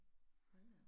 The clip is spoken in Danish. Hold da op